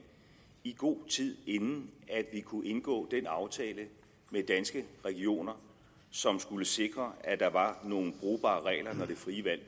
i god tid inden vi kunne indgå den aftale med danske regioner som skulle sikre at der var nogle brugbare regler når det frie valg